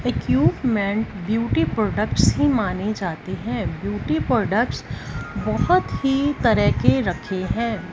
Equipment beauty products ही माने जाते हैं ब्यूटी प्रोडक्ट्स बहुत ही तरह के रखे हैं।